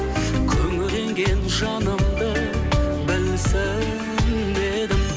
күңіренген жанымды білсін дедім